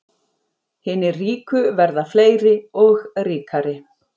Hinir ríku verða fleiri og ríkari